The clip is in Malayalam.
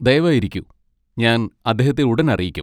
ദയവായി ഇരിക്കൂ, ഞാൻ അദ്ദേഹത്തെ ഉടൻ അറിയിക്കും.